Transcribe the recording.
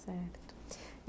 Certo.